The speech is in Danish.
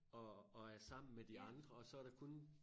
Og og er sammen med de andre og så der kun